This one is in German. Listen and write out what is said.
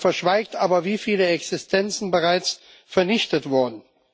Er verschweigt aber, wie viele Existenzen bereits vernichtet wurden.